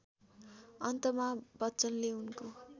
अन्तमा बच्चनले उनको